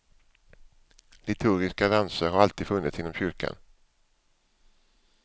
Liturgiska danser har alltid funnits inom kyrkan.